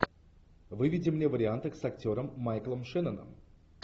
выведи мне варианты с актером майклом шенноном